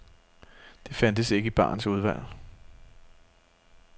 Det fandtes ikke i barens udvalg.